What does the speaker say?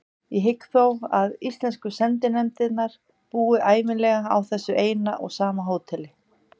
Ég hygg þó að íslensku sendinefndirnar búi ævinlega á þessu eina og sama hóteli.